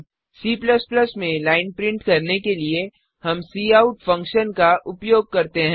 C में line print करने के लिए हम काउट फंक्शन का उपयोग करते हैं